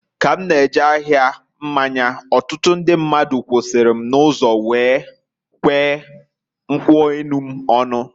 Ka m na-eje ahia mmanya, ọtụtụ ndị mmadụ kwusara m n'ụzọ kwee nkwu enu m ọnụ.